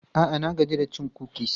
A'a, na gaji da cin kukis.